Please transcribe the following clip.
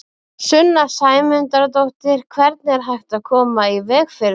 Sunna Sæmundsdóttir: Hvernig er hægt að koma í veg fyrir það?